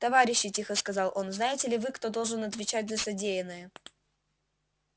товарищи тихо сказал он знаете ли вы кто должен отвечать за содеянное